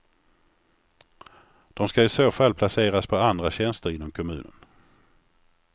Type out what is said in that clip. De ska i så fall placeras på andra tjänster inom kommunen.